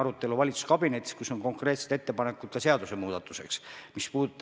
Seda ei ole sada protsenti hooldekodusid keelanud, aga tungiv soovitus on antud.